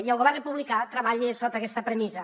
i el govern republicà treballa sota aquesta premissa